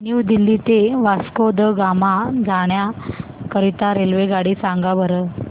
new Delhi ते वास्को द गामा जाण्या करीता रेल्वेगाडी सांगा बरं